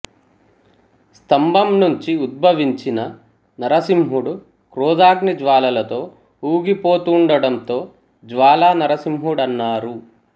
స్తంభంనుంచి ఉద్భవించిన నరసింహుడు క్రోధాగ్ని జ్వాలలతో ఊగి పోతూండటంతో జ్వాలా నరసింహుడన్నారు